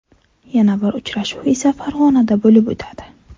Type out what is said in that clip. Yana bir uchrashuv esa Farg‘onada bo‘lib o‘tadi.